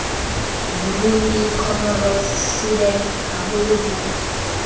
burundi comoros sudan haolo ho